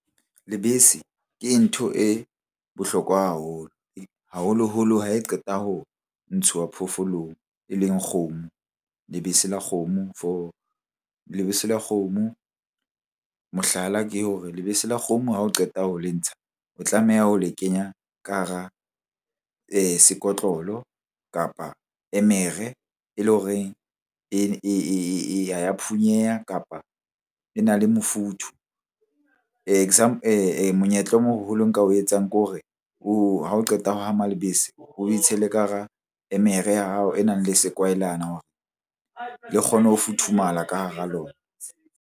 Lebese ke ntho e bohlokwa haholo. Haholoholo ha e qeta ho ntshuwa phoofolong e leng kgomo. Lebese la kgomo for, lebese la kgomo mohlala ke hore lebese la kgomo ha o qeta ho le ntsha o tlameha ho le kenya ka hara sekotlolo kapa emere e leng hore ha ya phunyeha kapa e na le mofuthu. Monyetla o moholo nka o etsang ke hore ha o qeta ho hama lebese, oe tshele ka hara emere ya hao e nang le sekwahelana le kgone ho futhumala ka hara lona.